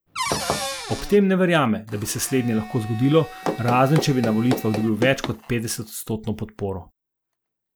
Ob tem ne verjame, da bi se slednje lahko zgodilo, razen če bi na volitvah dobil več kot petdesetodstotno podporo.